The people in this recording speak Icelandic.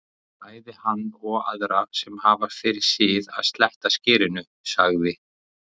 Bæði hann og aðra sem hafa fyrir sið að sletta skyrinu, sagði